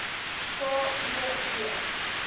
k o e